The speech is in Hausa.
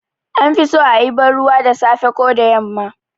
An fi so a yi banruwa da safe ko da yamma